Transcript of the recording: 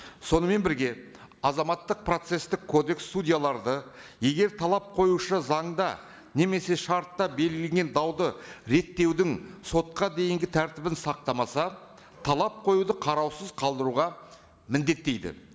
сонымен бірге азаматтық процесстік кодекс судьяларды егер талап қоюшы заңда немесе шартта белгілеген дауды реттеудің сотқа дейінгі тәртібін сақтамаса талап қоюды қараусыз қалдыруға міндеттейді